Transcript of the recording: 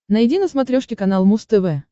найди на смотрешке канал муз тв